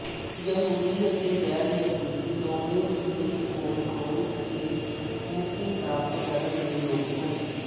ਯਹੂਦੀ ਅਤੇ ਗੈਰ ਯਹੂਦੀ ਦੋਵੇਂ ਮਸੀਹ ਕੋਲ ਆਉਣ ਅਤੇ ਮੁਕਤੀ ਪ੍ਰਾਪਤ ਕਰਨ ਦੇ ਯੋਗ ਹਨ